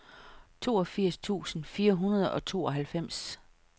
toogfirs tusind fire hundrede og tooghalvfems